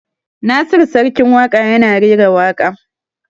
Nasiru Sarkin Waƙa ya na rera waƙa